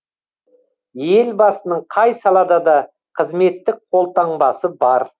елбасының қай салада да қызметтік қолтаңбасы бар